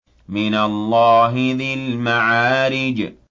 مِّنَ اللَّهِ ذِي الْمَعَارِجِ